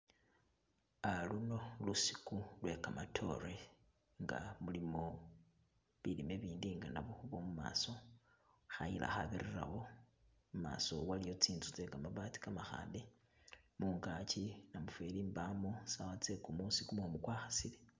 Ah luno lusiku lwe kamatoore nga mulimo bilime ibindi nga nabukhubo mumaso, khayila khabirirawo, mumaso waliyo tsinzu tse kamabati kamakhambe mungaki namufeli mbano sawa tse kumusi kumumu kwa khasile.